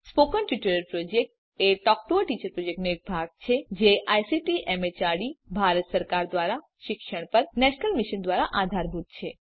spoken tutorial project એ talk to a teacher પ્રોજેક્ટનો એક ભાગ છે અને જે આઇસીટી એમએચઆરડી ભારત સરકાર દ્વારા શિક્ષણ પર નેશનલ મિશન દ્વારા આધારભૂત છે